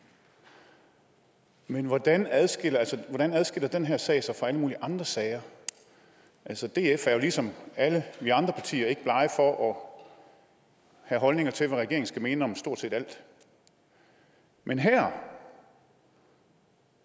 men hvordan adskiller adskiller den her sag sig fra alle mulige andre sager altså df er jo ligesom alle vi andre partier ikke blege for at have holdninger til hvad regeringen skal mene om stort set alt men her